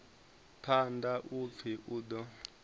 phanḓa u pfi u ḓo